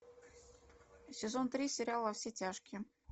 сезон три сериал во все тяжкие